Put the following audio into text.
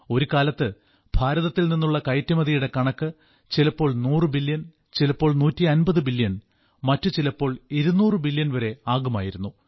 ഒരുകാലത്ത് ഭാരതത്തിൽ നിന്നുള്ള കയറ്റുമതിയുടെ കണക്ക് ചിലപ്പോൾ 100 ബില്യൺ ചിലപ്പോൾ 150 ബില്യൺ മറ്റുചിലപ്പോൾ 200 ബില്യൺ വരെ ആകുമായിരുന്നു